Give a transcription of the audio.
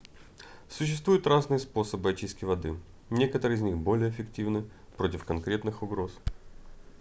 существуют разные способы очистки воды некоторые из них более эффективны против конкретных угроз